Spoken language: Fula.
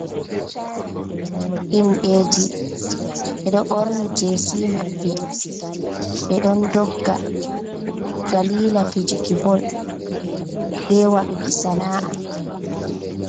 Himɓeji ɓe ɗo ɓorni jesi maɓɓe, ɓe ɗon dogga dalila fijuki bol be waɗuki sana’a.